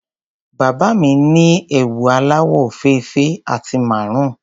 Bàbá mi ni ẹwù aláwọ̀ òfeèfé àti maroon.